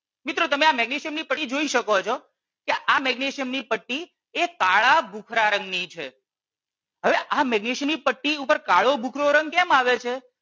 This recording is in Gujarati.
મિત્રો તમે આ મેગ્નેશિયમ ની પટ્ટી જોઈ શકો છે કે આ મેગ્નેશિયમ ની પટ્ટી કાળા ભૂખરા રંગ ની છે હવે આ મેગ્નેશિયમ ની પટ્ટી ઉપર કાળો ભૂખરો રંગ કેમ આવે છે